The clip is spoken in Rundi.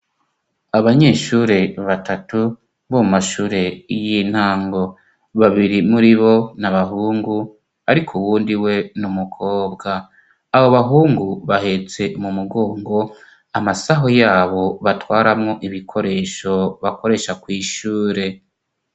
Abanyeshure batatu bo mashure y'intango : babiri muri bo n'abahungu, ariko uwundi we n'umukobwa. Abo bahungu bahetse mu mugongo amasaho yabo batwaramo ibikoresho bakoresha ku ishure.